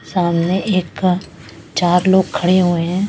सामने एक चार लोग खड़े हुए हैं।